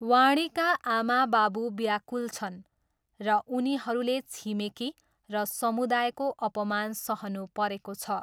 वाणीका आमाबाबु व्याकुल छन् र उनीहरूले छिमेकी र समुदायको अपमान सहनु परेको छ।